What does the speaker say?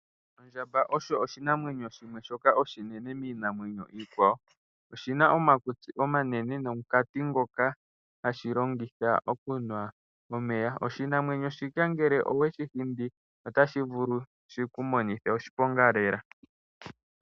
Ondjamba osho oshinamwenyo shimwe shoka oshinene miinamwenyo iikwawo. Oshina omakutsi omanene, nomukati ngoka hashi longitha okunwa omeya. Oshinamwenyo shika ngele owe shi hindi otashi vulu shiku monithe oshiponga lela.